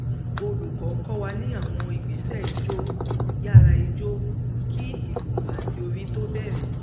olùkọ kọ wa ní àwọn ìgbésẹijó yàráijó kí ìlú àti orin tó bẹrẹ